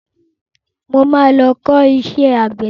Mo ma lọ kọ́ iṣẹ́ àgbẹ̀dẹ.